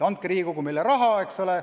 Andke, Riigikogu, meile raha!